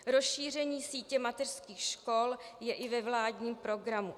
Rozšíření sítě mateřských škol je i ve vládním programu.